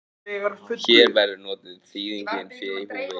Hér verður notuð þýðingin fé í húfi.